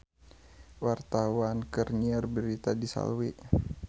Wartawan keur nyiar berita di Slawi